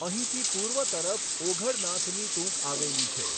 અહીંથી પૂર્વ તરફ ઓઘડનાથની ટુંક આવેલી છે.